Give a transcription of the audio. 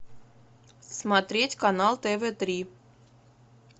смотреть канал тв три